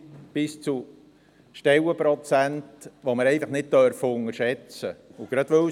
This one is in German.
Das bedeutet Stellenprozente, die wir nicht unterschätzen dürfen.